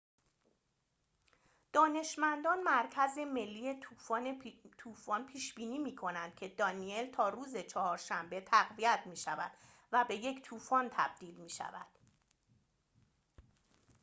دانشمندان مرکز ملی طوفان پیش بینی می کنند که دانیل تا روز چهارشنبه تقویت می‌شود و به یک طوفان تبدیل می‌شود